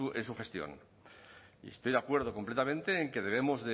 en su gestión y estoy de acuerdo completamente en que debemos